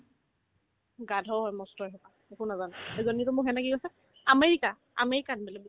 গাধ হয় মস্ত ইহঁতসোপা একো নাজানে এজনীতো মোৰ friend য়ে মোক কি কৈছে আমেৰিকা আমেৰিকাত বোলে